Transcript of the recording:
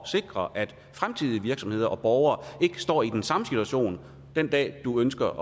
sikre at virksomheder og borgere for ikke står i den samme situation den dag du ønsker